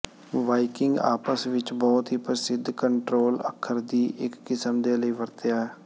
Viking ਆਪਸ ਵਿੱਚ ਬਹੁਤ ਹੀ ਪ੍ਰਸਿੱਧ ਕੰਟ੍ਰੋਲ ਅੱਖਰ ਦੀ ਇੱਕ ਕਿਸਮ ਦੇ ਲਈ ਵਰਤਿਆ